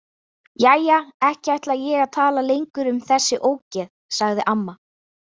Jæja, ekki ætla ég að tala lengur um þessi ógeð, sagði amma.